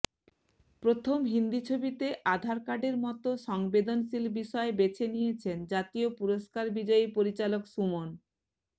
প্রথম হিন্দি ছবিতে আধার কার্ডের মতো সংবেদনশীল বিষয় বেছে নিয়েছেন জাতীয় পুরস্কার বিজয়ী পরিচালক সুমন